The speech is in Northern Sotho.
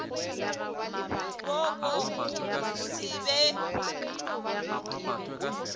wo wa go se be